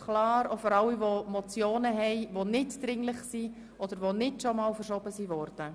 Auch für alle Ratsmitglieder, die nicht-dringliche Motionen eingereicht haben oder solche, die nicht schon einmal verschoben wurden?